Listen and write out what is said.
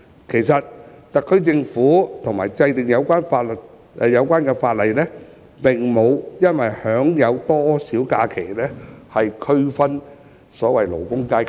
其實特區政府及其制定的有關法例，並無意以享有假期的日數來區分所謂的勞工階級。